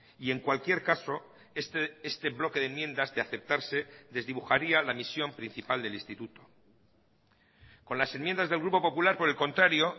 y en cualquier caso este bloque de enmiendas de aceptarse desdibujaría la misión principal del instituto con las enmiendas del grupo popular por el contrario